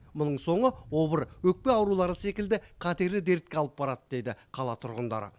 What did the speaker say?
мұның соңы обыр өкпе аурулары секілді қатерлі дертке алып барады деді қала тұрғындары